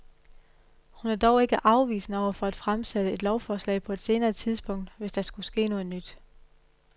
Hun er dog ikke afvisende over for at fremsætte et lovforslag på et senere tidspunkt, hvis der skulle ske noget nyt.